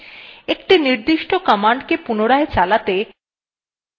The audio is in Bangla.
একটি নির্দিষ্ট command পুনরায় চালাতে